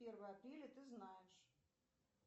первое апреля ты знаешь